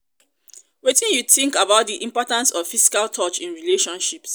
wetin you think about di importance of physical touch in relationships?